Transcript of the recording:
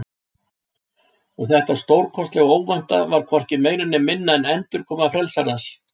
Og þetta stórkostlega óvænta var hvorki meira né minna en endurkoma Frelsarans.